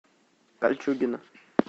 кольчугино